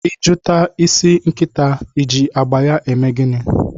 I jụta isi nkịta I ji agba ya eme gịnị?